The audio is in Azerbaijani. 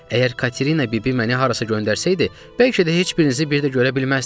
Əgər Katerina bibi məni harasa göndərsəydi, bəlkə də heç birinizi bir də görə bilməzdim.